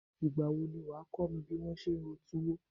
Ìgbà wo lo máa kọ mi bí wón ṣe ń ro tuwo?